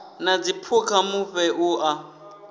na dziphukha mufhe u a